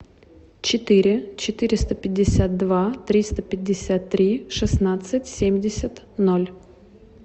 четыре четыреста пятьдесят два триста пятьдесят три шестнадцать семьдесят ноль